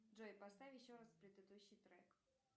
джой поставь еще раз предыдущий трек